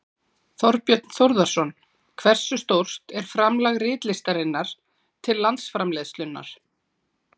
Þorbjörn Þórðarson: Hversu stórt er framlag ritlistarinnar til landsframleiðslunnar?